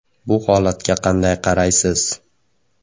Bu holatga qanday qaraysiz?